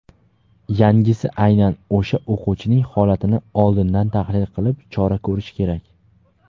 yangisi aynan o‘sha o‘quvchining holatini oldindan tahlil qilib chora ko‘rishi kerak.